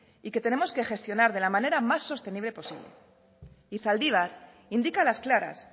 y que tenemos que gestionar de la manera más sostenible posible y zaldibar indica a las claras